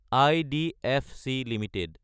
IDFC Ltd